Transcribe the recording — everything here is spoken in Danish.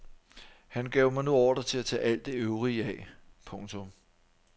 Han gav mig nu ordre til at tage alt det øvrige af. punktum